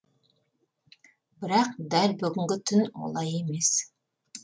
бірақ дәл бүгінгі түн олай емес